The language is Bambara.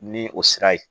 Ni o sira ye